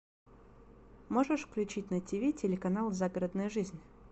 можешь включить на тв телеканал загородная жизнь